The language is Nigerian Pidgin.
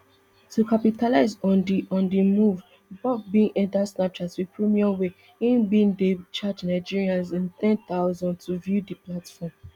to capitalize on di on di move bob bin enta snapchat wit premium wia im bin dey charge nigerians n ten thousand to view di platform